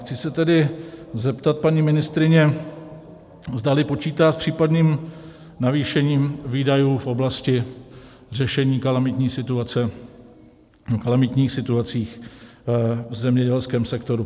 Chci se tedy zeptat paní ministryně, zdali počítá s případným navýšením výdajů v oblasti řešení kalamitních situací v zemědělském sektoru.